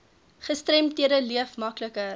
gestremdhede leef makliker